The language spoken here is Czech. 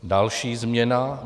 Další změna.